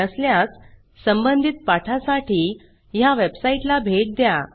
नसल्यास संबंधित पाठासाठी httpspoken tutorialorg ह्या वेबसाईटला भेट द्या